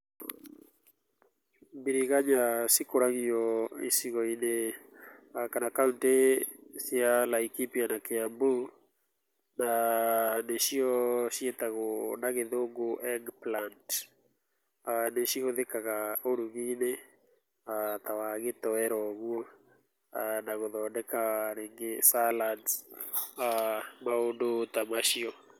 Biriganya cikũragio icigoinĩ kana kauntĩ cia Laikipia na Kĩambu, na nĩcio ciĩtegwo na gĩthũngũ Eggplant . Nĩcihũthĩkaga ũruginĩ ta wa gĩtoero ũguo na gũthondeka rĩngĩ ta salads maũndũ ta macio.